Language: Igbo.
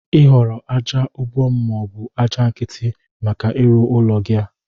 Igoro aja ubom mọọbụ aja nkiti maka ịrụ ụlọ gi a?